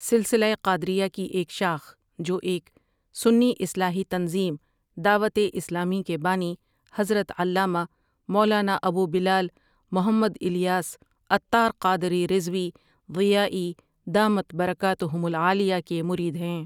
سلسلہ قادریہ کی ایک شاخ، جو ایک سنی اصلاحی تنظیم دعوت اسلامی کے بانی حضرت علامه مولانا ابوبلال محمد الیاس عطار قادری رضوي ضيائي دامت برڪاتهم العاليه کے مرید ہیں ۔